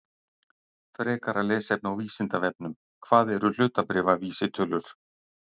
Frekara lesefni á Vísindavefnum: Hvað eru hlutabréfavísitölur?